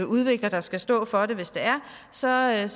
udvikler der skal stå for det hvis det er så er